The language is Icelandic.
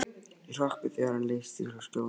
Ég hrökk við þegar hann leysti frá skjóðunni.